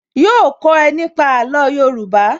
Yóò kó ẹ nípa àlò Yorùbá